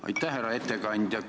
Aitäh, härra ettekandja!